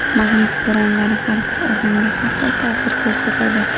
Magnit bo‘ronlari har bir odamga har xil ta’sir ko‘rsatadi.